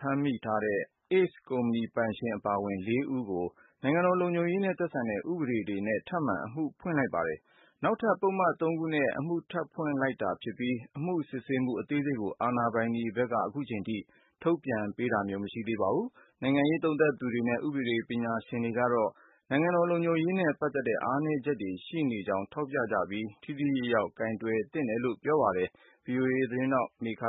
ဖမ်းမိထားတဲ့ ACE ကုမ္ပဏီပိုင်ရှင် အပါအဝင် ၄ဦးကို နိုင်ငံတော် လုံခြုံရေးနဲ့သက်ဆိုင်တဲ့ ဥပဒေတွေနဲ့ ထပ်မံအမှုဖွင့်လိုက်ပါတယ်။ နောက်ထပ် ပုဒ်မ ၃ခုနဲ့ထပ်ဖွင့်လိုက်တာ ဖြစ်ပြီး အခုချိန်ထိသေနတ်တွေ လက်ဝယ်ထားရတဲ့အကြောင်းရင်းနဲ့ အမှုစစ်ဆေးရရှိမှု အသေးစိတ်ကို အာဏာပိုင်တွေဘက်က ထုတ်ပြန်တာ မရှိသေးပါဘူး။ နိုင်ငံရေးလေ့လာသုံးသပ်သူတွေနဲ့ ဥပဒေဘက်တော်သားတွေဘက်ကတော့ နိုင်ငံတော်လုံခြုံရေးနဲ့ပတ်သတ်လို့ အားနည်းချက်တွေရှိနေတဲ့အ ပေါ်ထောက်ပြနေကြပြီး ထိထိရောက်ရောက်ဖော်ထုတ်ဖို့တောင်းဆိုနေကြပါတယ်။ ဒီသတင်းကို ဗွီအိုအေ မြန်မာပိုင်းကမေခ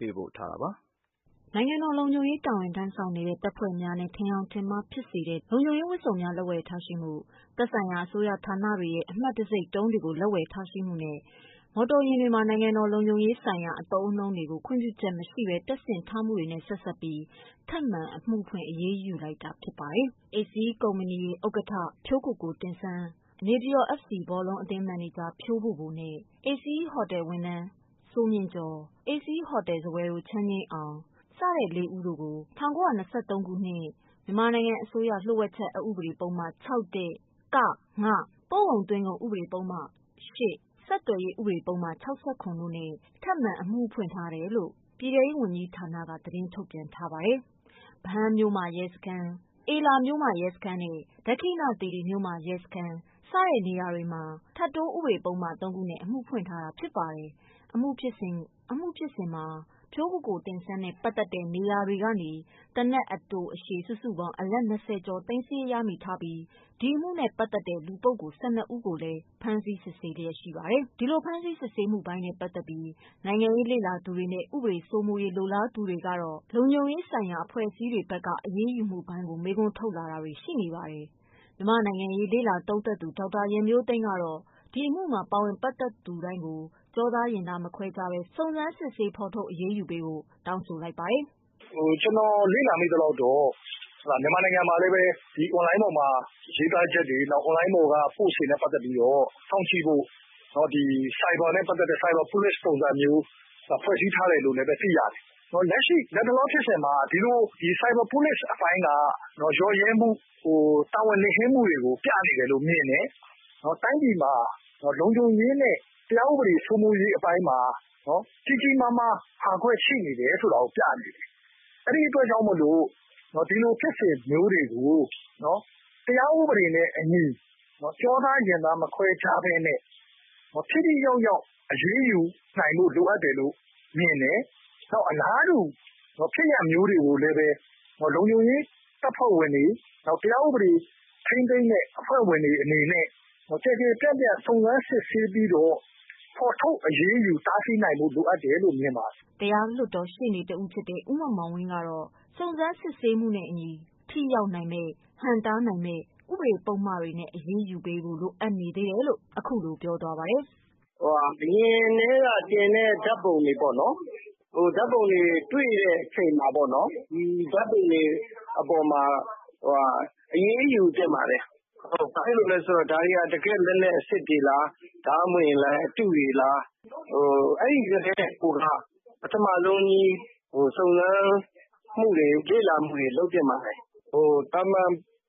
ပေးပို့ထားတာပါ။ နိုင်ငံတော်လုံခြုံရေးတာဝန်ထမ်းဆောင်နေတဲ့ တပ်ဖွဲ့များနဲ့ ထင်ယောင်ထင်မှားဖြစ်စေတဲ့ လုံခြုံရေးဝတ်စုံများ လက်ဝယ်ထားရှိမှု၊ သက်ဆိုင်ရာအစိုးရဌာနတွေရဲ့ အမှတ်တံဆိပ်တုံးတွေကို လက်ဝယ်ထားမှု၊ မော်တော်ယာဉ်မှာ နိုင်ငံတော်လုံခြုံရေးဆိုင်ရာအသုံးအနှုန်းများ ခွင့်ပြုချက်မရှိပဲ တပ်ဆင်ထားမှုတွေနဲ့ ဆက်စပ်ပြီး ထပ်မံ အမှုဖွင့်အရေးယူလိုက်တာဖြစ်ပါတယ်။ ACE ကုမ္ပဏီဥက္ကဋ္ဌ ဖြိုးကိုကိုတင့်ဆန်း ၊ နေပြည်တော် FC ဘောလုံးအသင်း မန်နေဂျာဖြိုးဗိုလ်ဗိုလ်(၊ ACE ဟိုတယ်ဝန်ထမ်း စိုးမြင့်ကျော် နဲ့ ACE ဟိုတယ်စားပွဲထိုး ချမ်းငြိမ်းအောင်စတဲ့ ၄ဦးတို့ကို ၁၉၂၃ ခုနှစ် မြန်မာနိုင်ငံအစိုးရ လျှို့ဝှက်ချက်အက်ဥပဒေပုဒ်မ ၆(၁)(က)(င)၊ ပို့ကုန်/သွင်းကုန် ပုဒ်မ ၈ ၊ ဆက်သွယ်ရေး ပုဒ်မ ၆၇ တိုနဲ့် ထပ်မံအမှုဖွင့်ထားကြောင်း ပြည်ထဲရေးဝန်ကြီးဌာနက သတင်းထုတ်ပြန်ထား ပါတယ်။ ဗဟန်းမြို့မရဲစခန်း၊ အေလာနယ်မြေရဲစခန်းနဲ့ ဒက္ခိဏသီရိမြို့မရဲစခန်း စတဲ့နေရာတွေမှာ ထပ်တိုးပုဒ်မ ၃ ခု ဖြင့် အမှုဖွင့်ထားတာဖြစ်ပါတယ်။ အမှုဖြစ်စဉ်တွင် ဖြိုးကိုကိုတင့်ဆန်းနဲ့ပတ်သက်တဲ့ နေရာတွေကနေ သေနတ် အတိုအရှည် စုစုပေါင်း အလက် ၂၀ ကျော်သိမ်းဆည်းရမိထားပြီး ဒီအမှုနဲ့ပတ် သတ်တဲ့ လူပုဂ္ဂိုလ် ၁၂ ဦးကိုလည်း ဖမ်းဆီးစစ်ဆေးလျက်ရှိပါတယ်။ နိုင်ငံရေးလေ့လာသုံးသပ်သူတွေနဲ့ ဥပဒေစိုးမိုးရေး လိုလားသူတွေကတော့ ဒီကိစ္စနဲ့ပတ်သက်လို့ လုံခြုံရေးဆိုင်ရာအဖွဲ့အစည်းတွေဖက်က အရေးယူမှုပိုင်းကို မေးခွန်းထုတ်လာကြပါတယ်။ မြန်မာ့နိုင်ငံရေးလေ့လာသုံးသပ်သူ ဒေါက်တာရန်မျိုးသိမ်းကတော့ ဒီအမှုမှာပါဝင်ပတ်သတ်သူတိုင်းကို ကျောသားရင်သားမခွဲခြားဘဲ စစ်ဆေးဖော်ထုတ်အ ရေးယူပေးဖို့ တောင်းဆိုလိုက်ပါတယ်။ "ကျနော်လေ့လာမိသလောက်တော့ မြန်မာနိုင်ငံမှာလည်း Online ပေါ်ကရေးသားချက်တွေ Online ပေါ်က Post တွေနဲ့ ပတ်သက်ပြီးတော့ စောင့်ကြည့်ဖို့ ဒီ ဆိုင်ဘာနဲ့ ပတ်သက်တဲ့ ဆိုင်ဘာPolice ဆိုတာမျိုး ဖွဲ့စည်းထားတယ်ဆိုတာလည်း သိရတယ်။ ဒီလိုလက်ရှိဖြစ်စဉ်မှာ ဆိုင်ဘာPolice အပိုင်းက ယို့ယွင်းမှု တာဝန်လစ်ဟင်းမှုဆိုတာပြနေတယ်လို့မြင်တယ်။ တိုင်းပြည်မှာ လုံခြုံရေးနဲ့ တရားဥပဒေစိုးမိုးမှုအပိုင်းမှာ ကြီးကြီးမားမားဟာကွက်ရှိနေတယ်ဆိုတာကို ပြနေတယ်။ အဲဒီအတွက်ကြောင့်မို့လို ဒီလိုဖြစ်စဉ်မျိုးတွေကို တရားဥပဒေနဲ့အညီ ကျောသားရင်သားမခွဲခြားပဲ ထိထိရောက်ရောက်အရေးယူဖို့ လိုအပ်တယ်လို့ မြင်တယ်။ နောက်အလားတူ ဖြစ်ရပ်မျိုးတွေကိုလည်း လုံခြုံရေးတပ်ဖွဲ့ဝင်တွေ တရားဥပဒေထိန်းသိမ်းတဲ့ အဖွဲ့ဝင်တွေအနေနဲ့ ကျယ်ကျယ်ပြန့်ပြန့် စုံစမ်းစစ်ဆေးပြီးတော့ ဖော်ထတ်အရေးယူတားဆီးနိုင်ဖို့ လိုအပ်တယ်လို့ မြင်ပါတယ်။" တရားလွှတ်တော်ရှေ့နေ ဦးမောင်မောင်ဝင်းကတော့ စုံစမ်းစစ်ဆေးမှုနဲ့ အညီထိရောက်နိုင်မယ့် ဟန့်တားနိုင်မယ့် ဥပဒေပုဒ်မတွေနဲ့အရေးယူပေးဖို့ လိုအပ်နေ သေးတယ်လို့ ခုလိုပြောသွားပါတယ်။ "အရင်ကတည်းက တင်တဲ့ ဓါတ်ပုံတွေပေါ့နော် ၊ ဓါတ်ပုံတွေ တွေ့တဲ့အချိန်မှာပေါ့နော်။ ဒီဓါတ်ပုံတွေအပေါ်မှာ အရေးယူသင့်ပါတယ်။ ဘာဖြစ်လို့လဲဆိုတော့ ဒါတွေက တကယ့်လက်နက်အစစ်တွေလား ၊ ဒါမှမဟုတ်ရင်လည်း အတုတွေလား။ အဲဒီကတည်းကိုက ပထမဆုံး စုံစမ်းမူတွေ လေ့လာမှုတွေ လုပ်သင့်ပါတယ်။ သာမန်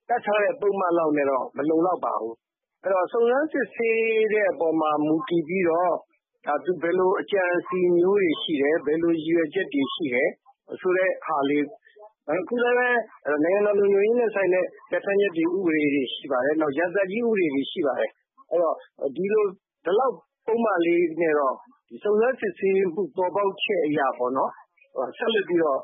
တပ်ထားတဲ့ ပုဒ်မလောက်နဲ့တော့ မလုံလောက်ပါဘူး။ အဲဒီတော့ စုံစမ်းစစ်ဆေးတဲ့အပေါ်မှာ မူတည်ပြီးတော့ သူဘယ်လိုအကြံအစဉ်မျိုးတွေရှိသလဲ ဘယ်လိုရည်ရွယ်ချက်တွေရှိတယ် ဆိုတာလေး အခုလည်း နိုင်ငံတော်လုံခြုံရေးနဲ့ ဆိုင်တဲ့ ပြဌာန်းချက်တွေ ဥပဒေတွေရှိ ပါတယ် နောက် ရာဇသတ်ကြီး ဥပေ။တွေရှိပါတယ်။ အဲဒီတော့ ဒီလောက်ပုဒ်မလေးနဲ့တော့ စုံစမ်းစစ်ဆေးမှု ပေါ်ပေါက်ချက်အရပေါ့နော် ဆက်လက်ပြီးတေ့ာ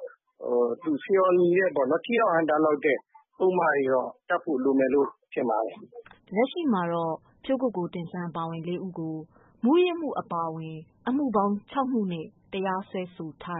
ထိရောက်ဟန့်တားလောက်တဲ့ ပုဒ်မတွေတော့ တပ်ဖို့လိုမယ်လို့ ထင်ပါတယ်။" လက်ရှိမှာတော့ ဖြိုးကိုကိုတင့်ဆန်း အပါအဝင် ၄ဦးကို မူးယစ်မှုအပါအဝင် အမှု ၆မှုနဲ့တရားစွဲထား